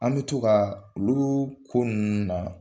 An be to ka olu ko nunnu na